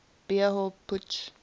beer hall putsch